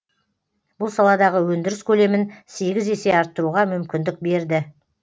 бұл саладағы өндіріс көлемін сегіз есе арттыруға мүмкіндік берді